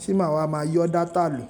Tí n ma wa máa yọ data lò.